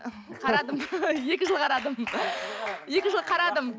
қарадым екі жыл қарадым екі жыл қарадым